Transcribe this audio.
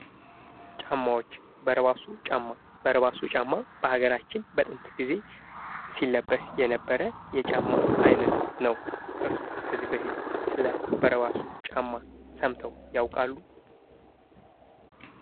ጫማዎች በረባሶ ጫማ በረባሶ ጫማ በሀገራችን በጥንት ጊዜ ሲለበስ የነበረ የጫማ አይነት ነው። እርስዎ ከዚህ በፊት ስለ በረባሶ ጫማ ሰምተው ያውቃሉ?